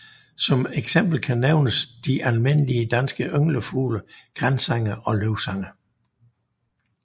Som eksempel kan nævnes de almindelige danske ynglefugle gransanger og løvsanger